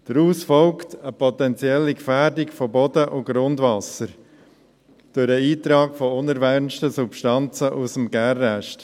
Daraus folgt eine potenzielle Gefährdung von Boden und Grundwasser durch den Eintritt unerwünschter Substanzen aus dem Gärrest.